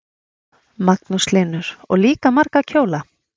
Magnús Hlynur: Og líka marga kjóla?